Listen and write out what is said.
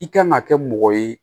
I kan ka kɛ mɔgɔ ye